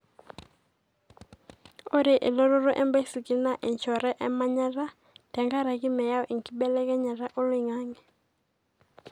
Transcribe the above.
ore elototo ebaisikil na enchoree omanyata tengaraki meyau enkibelekenyata oloingange.